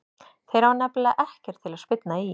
Þeir hafa nefnilega ekkert til að spyrna í.